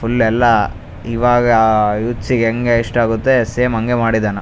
Full ಎಲ್ಲ ಇವಾಗ ಆಹ್ಹ್ ಯೂತ್ಸ್ಗೆ ಹೆಂಗ್ ಇಷ್ಟ ಆಗತ್ತೆ ಸೇಮ್ ಹಂಗೆ ಮಾಡಿದ್ದಾನ .